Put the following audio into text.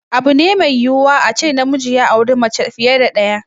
Abu ne mai yiwuwa a ce namiji ya auri mace fiye da ɗaya.